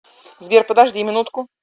сбер подожди минутку